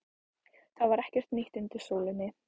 Það var ekkert nýtt undir sólinni.